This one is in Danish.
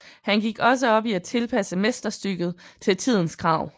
Han gik også op i at tilpasse mesterstykket til tidens krav